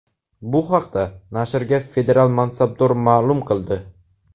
Bu haqda nashrga federal mansabdor ma’lum qildi.